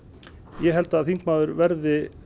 ég held að þingmaður verði